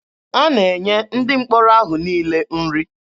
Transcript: A na-enye ndị mkpọrọ ahụ niile nri.